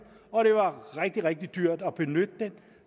og det var rigtig rigtig dyrt at benytte den